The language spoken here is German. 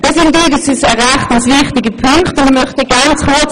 Das sind unseres Erachtens wichtige Punkte.